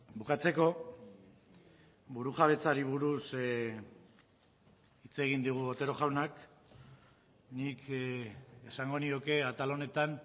bukatzeko burujabetzari buruz hitz egin digu otero jaunak nik esango nioke atal honetan